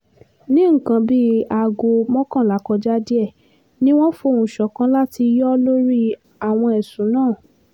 ní nǹkan bíi aago mọ́kànlá kọjá díẹ̀ ni wọ́n fohùn ṣọ̀kan láti yọ ọ́ lórí àwọn ẹ̀sùn náà